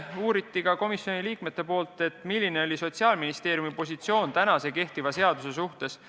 Üks komisjoni liige uuris, milline on Sotsiaalministeeriumi positsioon kehtiva seaduse suhtes.